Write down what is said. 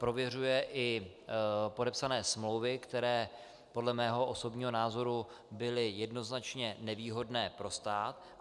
Prověřuje i podepsané smlouvy, které podle mého osobního názoru byly jednoznačně nevýhodné pro stát.